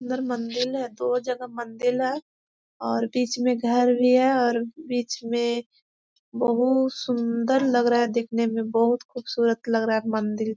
अन्दर मंदिल है दो जगह मंदिल है और बीच में घर भी है और बीच में बहुत सुन्दर लग रहा है दिखने में बहुत खुबसूरत लग रहा है मंदिर--